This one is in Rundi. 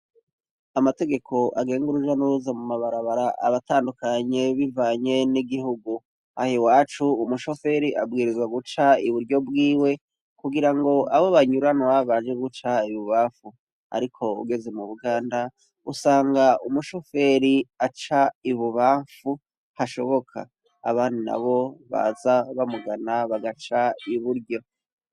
Amategeko agenga uruja n'uruza mu mabarabara aratandukanye bivanye n'igihugu. Aha iwacu, umushoferi abwirizwa guca iburyo bwiwe kugira abo banyuranwa baje guca ibubamfu. Ariko ugeze mu buganda, usanga umushoferi aca ibubamfu hashoboka. Abandi nabo baza bamugana bagaca iburyo.